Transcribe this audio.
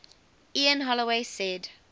ian holloway said